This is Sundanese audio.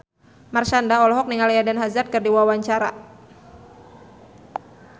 Marshanda olohok ningali Eden Hazard keur diwawancara